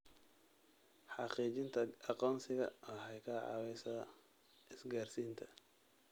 Xaqiijinta aqoonsiga waxay ka caawisaa isgaarsiinta.